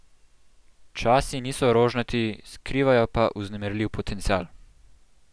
Časi niso rožnati, skrivajo pa vznemirljiv potencial!